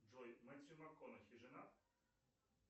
джой мэтью макконахи женат